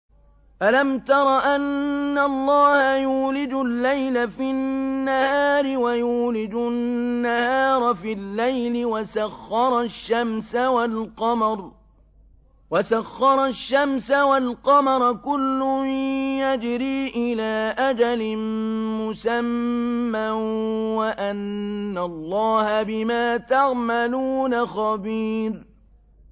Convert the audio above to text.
أَلَمْ تَرَ أَنَّ اللَّهَ يُولِجُ اللَّيْلَ فِي النَّهَارِ وَيُولِجُ النَّهَارَ فِي اللَّيْلِ وَسَخَّرَ الشَّمْسَ وَالْقَمَرَ كُلٌّ يَجْرِي إِلَىٰ أَجَلٍ مُّسَمًّى وَأَنَّ اللَّهَ بِمَا تَعْمَلُونَ خَبِيرٌ